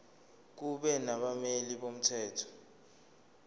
kube nabameli bomthetho